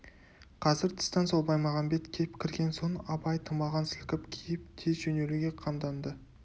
қазір тыстан сол баймағамбет кеп кірген соң абай тымағын сілкіп киіп тез жөнелуге қамданды